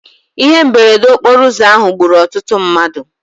Ihe mberede okporo ụzọ ahụ gburu ọtụtụ mmadụ.